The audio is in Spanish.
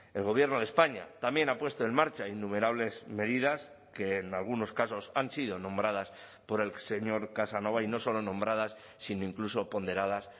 el gobierno de españa también ha puesto en marcha innumerables medidas que en algunos casos han sido nombradas por el señor casanova y no solo nombradas sino incluso ponderadas